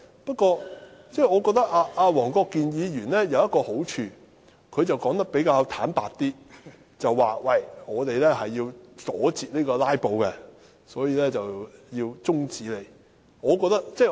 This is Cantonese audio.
不過，我覺得黃國健議員有一個好處，他說得很坦白，表明是要阻截"拉布"，所以要提出中止待續議案。